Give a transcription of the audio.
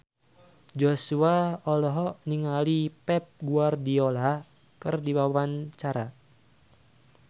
Joshua olohok ningali Pep Guardiola keur diwawancara